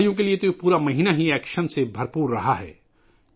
کھلاڑیوں کے لئے یہ پورا مہینہ ایکشن سے بھرپور رہا